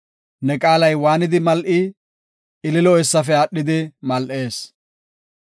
Ne qaalay waanidi mal7i! ililo eessafe aadhidi mal7ees.